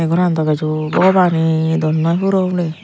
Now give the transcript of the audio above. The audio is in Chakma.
goran dw bej o bogoban ay dol noi puro puri.